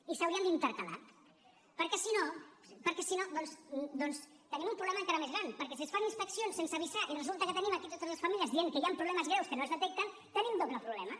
i s’haurien d’intercalar perquè si no doncs tenim un problema encara més gran perquè si es fan inspeccions sense avisar i resulta que tenim aquí totes les famílies dient que hi han problemes greus que no es detecten tenim doble problema